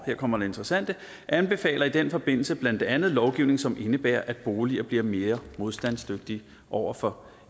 her kommer det interessante anbefaler i den forbindelse blandt andet lovgivning som indebærer at boliger bliver mere modstandsdygtige over for